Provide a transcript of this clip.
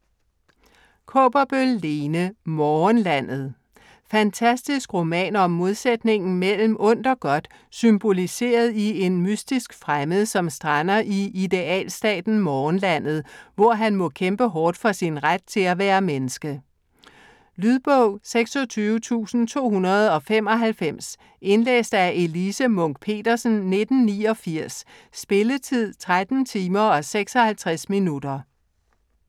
Kaaberbøl, Lene: Morgenlandet Fantastisk roman om modsætningen mellem ondt og godt symboliseret i en mystisk fremmed, som strander i idealstaten Morgenlandet, hvor han må kæmpe hårdt for sin ret til at være menneske. Lydbog 26295 Indlæst af Elise Munch-Petersen, 1989. Spilletid: 13 timer, 56 minutter.